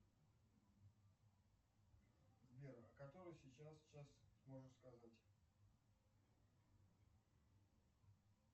сбер который сейчас час можешь сказать